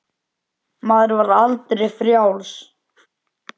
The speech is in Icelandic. Maður var aldrei frjáls.